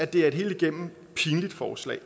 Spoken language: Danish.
det er et helt igennem pinligt forslag